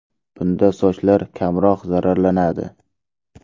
Bunda sochlar kamroq zararlanadi.